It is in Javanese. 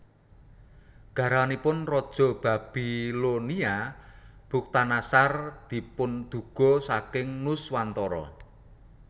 Garwanipun raja Babilonia Bukhtannasar dipunduga saking Nuswantara